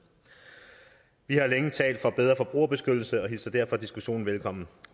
vi har længe talt for bedre forbrugerbeskyttelse og hilser derfor diskussionen velkommen